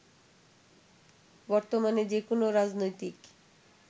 বর্তমানে যেকোনো রাজনৈতিক